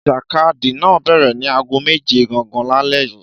Ìjàkadì náà bẹ̀rẹ̀ ní aago méje gangan lálẹ́ yìí.